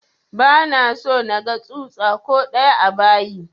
Ba na so naga tsutsa ko ɗaya a bayi!